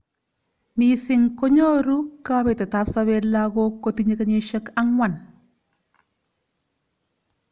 Missing konyoru kabetet ab sabet lakok kotinye kenyishek ang'wan.